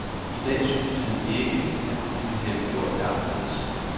I dag synes han ikke, han kunne have gjort det anderledes.